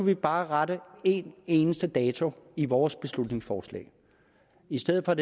vi bare rette en eneste dato i vores beslutningsforslag i stedet for